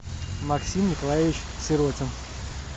максим николаевич сиротин